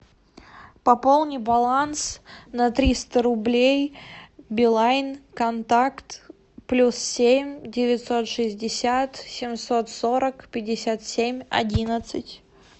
пополни баланс на триста рублей билайн контакт плюс семь девятьсот шестьдесят семьсот сорок пятьдесят семь одиннадцать